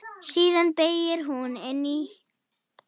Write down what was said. Síðan beygir hún inn í